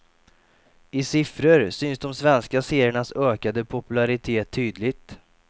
I siffror syns de svenska seriernas ökade popularitet tydligt.